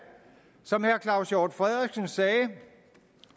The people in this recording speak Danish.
som herre claus hjort frederiksen sagde